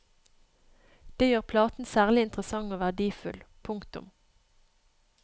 Det gjør platen særlig interessant og verdifull. punktum